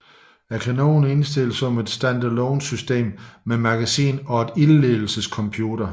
Kanonen er installeret som et standalone system med magasin og ildledelsescomputer